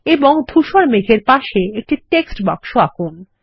এবং ধূসর মেঘের পাশে একটি টেক্সট বাক্স আঁকুন